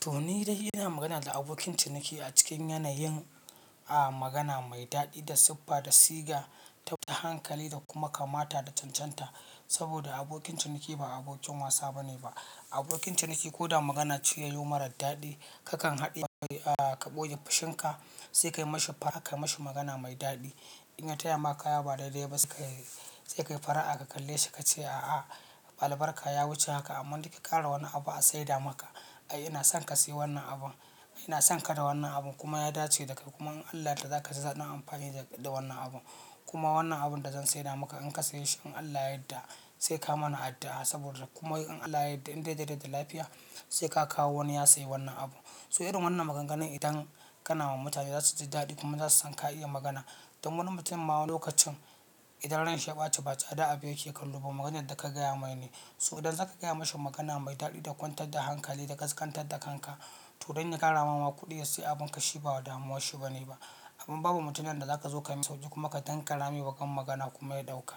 To ni dai ina magana da abokin ciniki a cikin yanayin, a magana mai daɗi da siffa da siga, da hankali da kuma kamata da cancanta. Saboda abokin ciniki ba abokin wasa bane ba. Abokin ciniki ko da magana ce yayi yi marar daɗi, kakan haɗiye, a ka ɓoye fushinka sai ka yi ma shi fara'a, ka yi ma shi magana mai daɗi. In ya taya maka kaya ba daidai ba sai ka yi fara'a ka kalle shi ka ce, a'a albarka ya wuce haka amma dai ka ƙara wani abu a saida maka. Ai ina son ka sayi wannan abun, ina son ka da wannan abun kuma ya dace da kai kuma in Allah ya yadda zaka ji daɗin amfani da wannan abu. Kuma wannan abun da zan saida maka in ka sayi shi in Allah ya yadda sai ka mana addu'a saboda kuma in Allah ya yadda in dai da rai da lafiya sai ka kawo wani ya saya wannan abu. To irin wannan maganganu idan kana ma mutane za su ji daɗi kuma za su san ka iya magana. Don wani mutum ma lokacin idan ransa ya ɓace ba tsada abu yake kallo ba maganar da ka gaya mai ne. So idan za ka gaya mashi magana mai daɗi da kwantar da hankali da ƙasƙantar da kanka. To don ya karamawa kuɗi ya sayi abun ka shi ba damuwan shi bane ba. Kuma babu mutumin da zaka zo ka min sauki kuma ka tankara mai baƙan magana kuma ya ɗauka.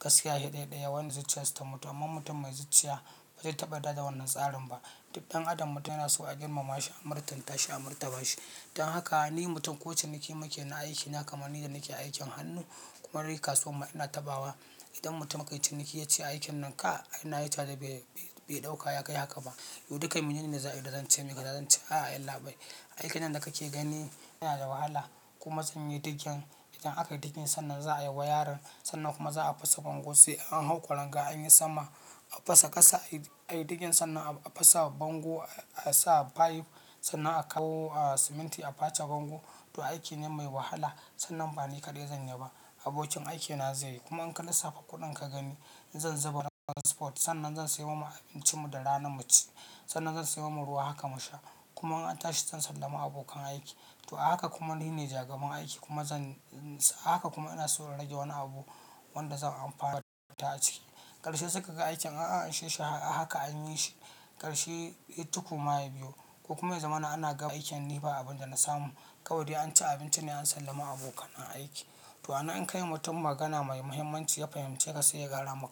Gaskiya sai ɗai ɗaya wanda zuciyansu ta mutu amma mutum mai zuciya ba zai taɓa yadda da wannan tsarin ba. Duk ɗan adam mutum yana so a girmama shi, a murtanta shi, a murtaba shi. Dan haka ni mutum ko ciniki muke na aiki na kamar ni da nake aikin hannu kuma kasuwa ma ina taɓawa. Idan mutum aka yi ciniki ya ce aikin nan ka, ai na yi ta da bai ɗauka ya kai haka ba. To duka mene ne na za a yi da zan ce maka, da zan ce a'a yallabai. Aikin nan da kake gani yana da wahala kuma zan yi digin. Idan aka yi digin sannan za a yi wayarin, sannan kuma za a fasa bango sai an hau ƙwaranga an yi sama. A fasa ƙasa ayi digin sannan a fasa bango a sa fayif sannan a kawo siminti a face bango. To aiki ne mai wahala sannan bani kaɗai zan yi ba. Abokin aikina zai yi kuma in ka lissafa kuɗin ka gani zan zuba daga spot sannan zan sayo ma abincin mu da ranar mu ci. Sannan zan sayo ma ruwa haka mu sha kuma in an tashi zan sallami abokan aiki. To a haka kuma ni ne jagaban aiki kuma zan, a haka kuma ina so na rage wani abu wanda zan amfana da shi zuwa tashi. Karshe suka ga aikin aa anshe shi a haka an yi shi. Karshe, he tuku ma yabiyo ko kuma yazamana ana gama aikin ni ba abin da na samu. Kawai dai an ci abinci ne an sallami abokan aiki. To anan in kayi wa mutum magana mai muhimmanci ya fahimceka sai ya gyara maka.